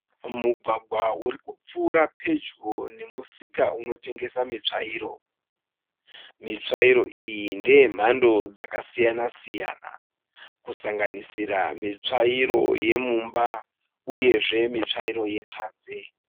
Mugwagwa urikupfuuura pedyo nemusika unotengeswa mitsvairo, mitsvairo iyi ndeyemhando dzakasiyana siyana, kusanganisira mitsvairo yemumba uyezve mitsvairo yepanze.